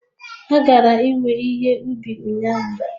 Ha gara iwe ihe ubi ụnyahụ